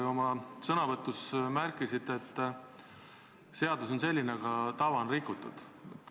Te oma sõnavõtus märkisite, et seadus on selline, aga head tava on rikutud.